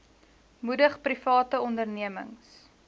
moedig private ondernemings